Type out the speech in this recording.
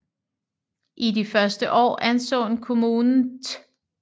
I de første år anså kommunen Th